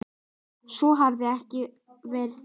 Svo hafi ekki verið áður.